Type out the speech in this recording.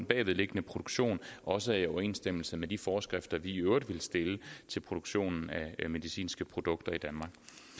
bagvedliggende produktion også er i overensstemmelse med de forskrifter vi i øvrigt vil stille til produktionen af medicinske produkter i danmark